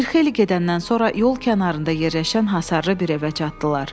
Bir xeyli gedəndən sonra yol kənarında yerləşən hasarlı bir evə çatdılar.